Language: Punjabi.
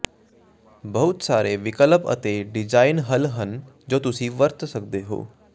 ਬਹੁਤ ਸਾਰੇ ਵਿਕਲਪ ਅਤੇ ਡਿਜ਼ਾਈਨ ਹੱਲ ਹਨ ਜੋ ਤੁਸੀਂ ਵਰਤ ਸਕਦੇ ਹੋ